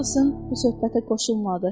Karrlsın bu söhbətə qoşulmadı.